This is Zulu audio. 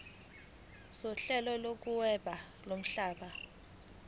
sohlelo lokuhweba lomhlaba